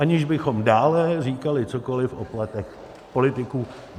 Aniž bychom dále říkali cokoli o platech politiků.